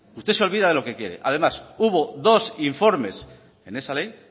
usted se olvida de lo que quiere además hubo dos informes en esa ley